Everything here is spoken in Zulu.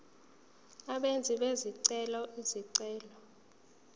abenzi bezicelo izicelo